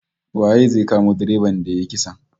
Waye zai kamo direban da yayi kisan?